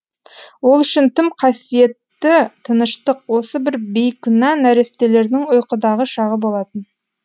ол үшін тым қасиетті тыныштық осы бір бейкүнә нәрестелердің ұйқыдағы шағы болатын